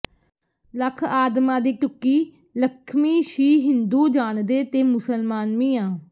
ਲੱਖ ਆਦਮਾਂ ਦੀ ਢੁੱਕੀ ਲਖਮੀ ਸ਼ੀ ਹਿੰਦੂ ਜਾਣਦੇ ਤੇ ਮੁਸਲਮਾਨ ਮੀਆਂ